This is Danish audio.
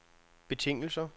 betingelser